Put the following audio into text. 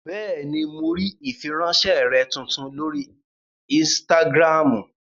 Bẹ́ẹ̀ni, mo rí ìfiránsẹ́ rẹ tuntun lórí ínstágíráàmù